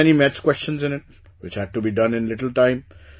There were many maths questions in it, which had to be done in little time